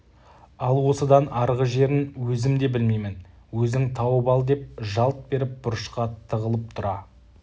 ал осыдан арғы жерін өзім де білмеймін өзің тауып ал деп жалт беріп бұрышқа тығылып тұра